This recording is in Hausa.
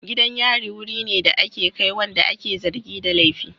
Gidan yari wuri ne da ake kai wanda ake zargi da laifi.